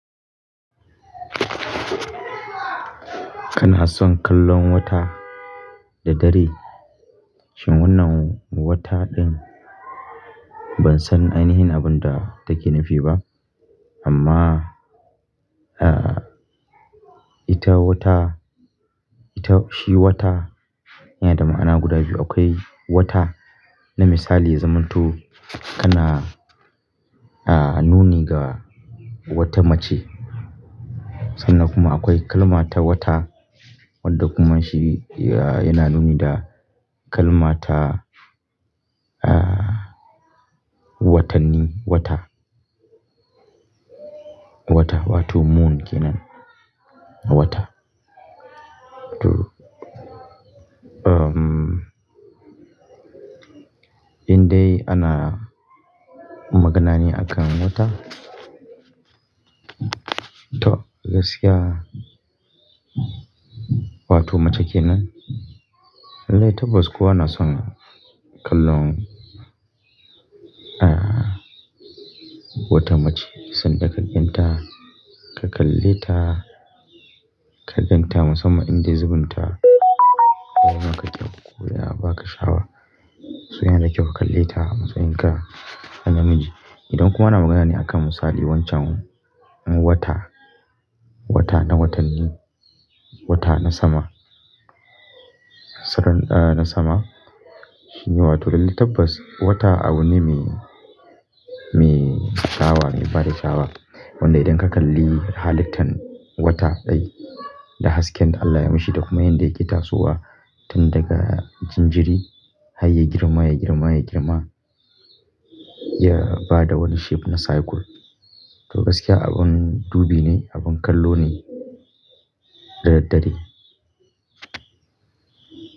Kana son kallon wata da dare? Shin wannan wata ɗin, ban san ainihin abin da take nufi ba, amma, ah, ita wata, ita shi wata yana da ma'ana guda biyu. Akwai wata na misali ya zamanto kana, ah, nuni ga wata mace, sannan kuma akwai kalmata wata wadda kuma shi, ah, yana nuni da kalmata, ah, watanni, wata. Wata, wato moon kenan, wata. To, um, in dai ana magana ne akan wata, to gaskiya, wato mace kenan. Lallai tabbas kowa na son kallon, ah, wata mace, sanda kaganta, ka kalle ta, kaganta musamman in dai zubinta, yana kaɗa, koya ba ka sha'awa. So yana da kyau ka kalle ta a matsayin ka na namiji. Idan kuma ana magana ne a kan misali wancan wata, wata na watanni, wata na sama, Sakan, ah, na sama, shi ne wato lallai tabbas, wata abu ne mai, mai sha'awa, mai bada sha'awa. Wanda idan ka kalli halittan wata ɗai, da hasken da Allah ya mishi da kuma yanda yake tasowa, tun daga jinjiri har ya girma, ya girma, ya girma, ya bada wani shape na circle. To gaskiya abin dubi ne, abin kallo ne, da daddare.